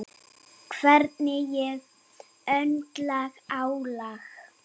Hvernig ég höndla álag.